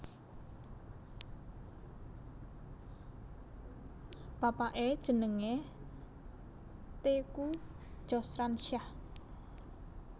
Bapaké jenengé Teuku Joesransjah